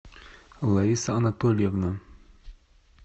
лариса анатольевна